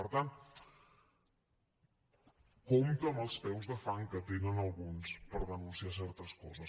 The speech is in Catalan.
per tant compte amb els peus de fang que tenen alguns per denunciar certes coses